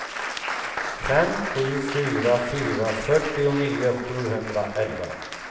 fem sju fyra fyra fyrtionio sjuhundraelva